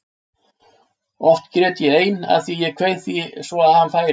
Oft grét ég ein af því að ég kveið því svo að hann færi.